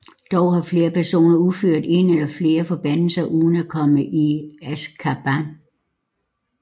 Dog har flere personer udført en eller flere af forbandelserne uden at komme i Azkaban